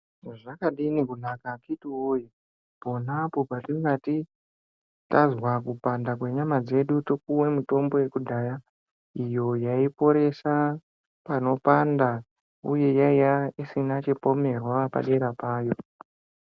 Zvakadini kunaka akiti woyee ponapo patingati tazwa kupanda kwenyama dzedu topuwe mitombo yekudhara iyoo yaiporesa pano panda uye yaiya isina chipomerwa padera payo.